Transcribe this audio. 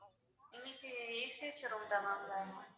எங்களுக்கு AC வச்ச room தான் ma'am வேணும்.